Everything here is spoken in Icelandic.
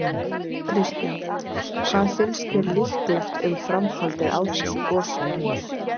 Kristján: Hvað finnst þér líklegt um framhaldið á þessu gosi?